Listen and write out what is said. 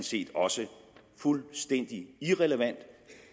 set også fuldstændig irrelevant